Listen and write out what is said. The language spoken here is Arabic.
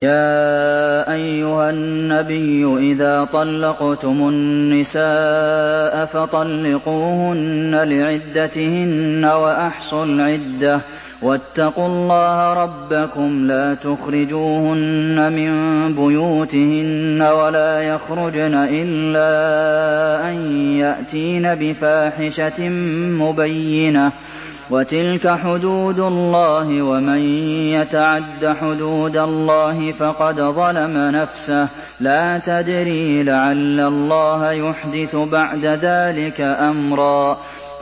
يَا أَيُّهَا النَّبِيُّ إِذَا طَلَّقْتُمُ النِّسَاءَ فَطَلِّقُوهُنَّ لِعِدَّتِهِنَّ وَأَحْصُوا الْعِدَّةَ ۖ وَاتَّقُوا اللَّهَ رَبَّكُمْ ۖ لَا تُخْرِجُوهُنَّ مِن بُيُوتِهِنَّ وَلَا يَخْرُجْنَ إِلَّا أَن يَأْتِينَ بِفَاحِشَةٍ مُّبَيِّنَةٍ ۚ وَتِلْكَ حُدُودُ اللَّهِ ۚ وَمَن يَتَعَدَّ حُدُودَ اللَّهِ فَقَدْ ظَلَمَ نَفْسَهُ ۚ لَا تَدْرِي لَعَلَّ اللَّهَ يُحْدِثُ بَعْدَ ذَٰلِكَ أَمْرًا